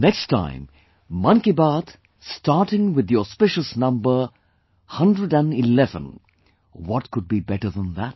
Next time 'Mann Ki Baat' starting with the auspicious number 111... what could be better than that